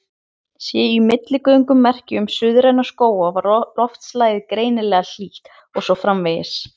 Séu í millilögunum merki um suðræna skóga var loftslagið greinilega hlýtt, og svo framvegis.